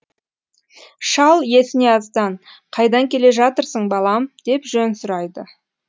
шал еснияздан қайдан келе жатырсың балам деп жөн сұрайды